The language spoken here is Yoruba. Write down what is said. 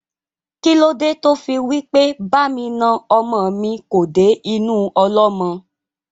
Kílódé tí ó fí wí pé "Ba mi na ọmọ mi kò dé inú ọlọ́mọ?"